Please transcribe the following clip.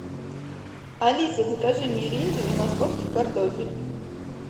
алиса закажи миринду и московский картофель